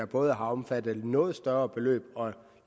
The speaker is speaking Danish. både har omfattet et noget større beløb og